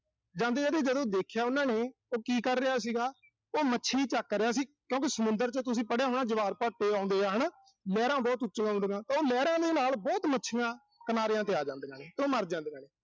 ਜਾਂਦੇ-ਜਾਂਦੇ ਜਦੋਂ ਦੇਖਿਆ ਉਨ੍ਹਾਂ ਨੇ, ਉਹ ਕੀ ਕਰ ਰਿਹਾ ਸੀਗਾ। ਉਹ ਮੱਛੀ ਚੱਕ ਰਿਹਾ ਸੀ। ਕਿਉਂਕਿ ਸਮੁੰਦਰ ਚ ਤੁਸੀਂ ਪੜ੍ਹਿਆ ਹੋਣਾ, ਵੀ ਜਵਾਰਭਾਟੇ ਆਉਂਦੇ ਆ ਹਨਾ। ਲਹਿਰਾਂ ਬਹੁਤ ਉੱਚੀਆਂ ਆਉਂਦੀਆਂ। ਉਹ ਲਹਿਰਾਂ ਦੇ ਨਾਲ ਬਹੁਤ ਮੱਛੀਆਂ ਕਿਨਾਰਿਆਂ ਤੇ ਆ ਜਾਂਦੀਆਂ ਨੇ, ਉਹ ਮਰ ਜਾਂਦੀਆਂ ਨੇ।